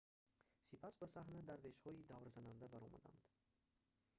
сипас ба саҳна дарвешҳои даврзананда баромаданд